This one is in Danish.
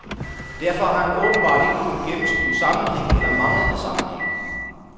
Derfor har han åbenbart ikke kunnet gennemskue sammenhæng eller manglende sammenhæng.